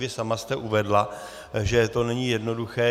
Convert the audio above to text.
Vy sama jste uvedla, že to není jednoduché.